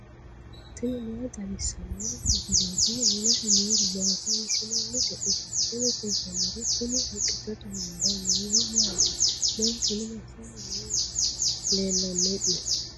tini maa xawissanno misileeti? mulese noori maati? hiissinannite ise? tini kultannori kuni haqqichote hunda noohu maati? manchuno massanni no leellanno'ne?